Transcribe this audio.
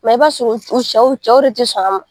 i b'a sɔrɔ u cɛw u cɛw de tɛ sɔn a ma